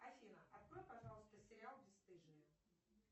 афина открой пожалуйста сериал бесстыжие